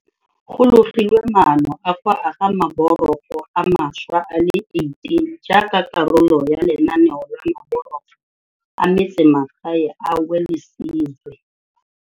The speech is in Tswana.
Go logilwe maano a go aga maborogo a mašwa a le 18 jaaka karolo ya lenaneo la Maborogo a Metsemagae a Welisizwe.